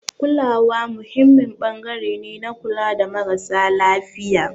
Kulawa muhimmin ɓangare ne na kula da marasa lafiya.